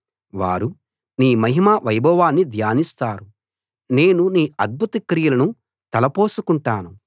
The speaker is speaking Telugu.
వారు నీ మహిమ వైభవాన్ని ధ్యానిస్తారు నేను నీ అద్భుత క్రియలను తలపోసుకుంటాను